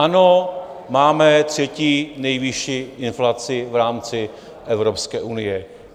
Ano, máme třetí nejvyšší inflaci v rámci Evropské unie.